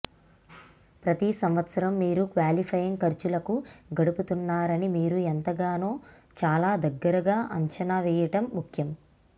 ప్రతి సంవత్సరం మీరు క్వాలిఫైయింగ్ ఖర్చులకు గడుపుతున్నారని మీరు ఎంతగానో చాలా దగ్గరగా అంచనా వేయడం ముఖ్యం